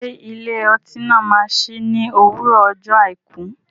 Ṣé ilé ọtí náà máa sí ní òwúrọ̀ ọjọ́ àìkú?